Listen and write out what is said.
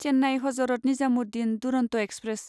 Chennai Hazrat Nizamuddin Duronto express